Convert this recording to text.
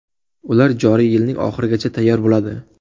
Ular joriy yilning oxirigacha tayyor bo‘ladi.